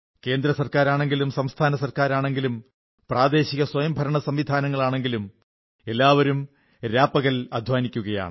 കേന്ദ്രസർക്കാരാണെങ്കിലും സംസ്ഥാന സർക്കരാണെങ്കിലും പ്രാദേശിക സ്വയംഭരണസംവിധാനങ്ങളാണെങ്കിലും എല്ലാവരും രാപകൽ അധ്വാനിക്കുകയാണ്